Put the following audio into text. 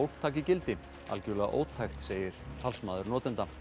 taki gildi algjörlega ótækt segir talsmaður notenda